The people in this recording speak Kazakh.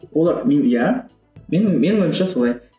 олар мен иә менің менің ойымша солай